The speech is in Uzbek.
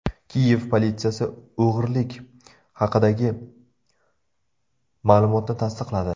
Kiyev politsiyasi o‘g‘irlik haqidagi ma’lumotni tasdiqladi.